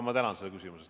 Mart Võrklaev, palun!